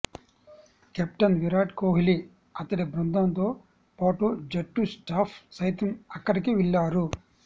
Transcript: captain Virat Kohli అతడి బృందంతో పాటు జట్టు స్టాఫ్ సైతం అక్కడికి వెళ్లారు